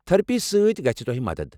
Therapy سۭتۍ گژھہِ تۄہہ مدتھ ۔